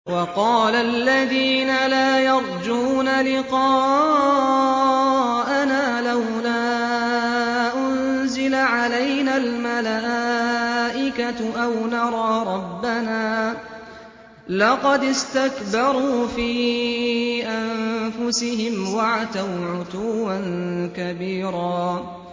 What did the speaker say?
۞ وَقَالَ الَّذِينَ لَا يَرْجُونَ لِقَاءَنَا لَوْلَا أُنزِلَ عَلَيْنَا الْمَلَائِكَةُ أَوْ نَرَىٰ رَبَّنَا ۗ لَقَدِ اسْتَكْبَرُوا فِي أَنفُسِهِمْ وَعَتَوْا عُتُوًّا كَبِيرًا